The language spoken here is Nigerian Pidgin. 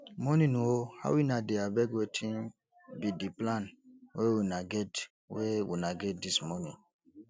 morning o how una dey abeg wetin be di plan wey una get wey una get dis morning